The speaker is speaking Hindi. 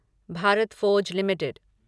Bharat Forge limited